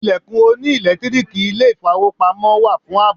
Ilẹ̀kùn oní ẹ̀lẹ́tíríìkì ilé ìfowópamọ́ wà fún àbò.